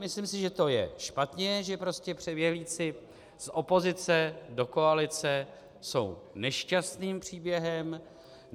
Myslím si, že to je špatně, že prostě přeběhlíci z opozice do koalice jsou nešťastným příběhem.